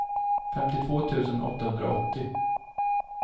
femtiotvå tusen åttahundraåttio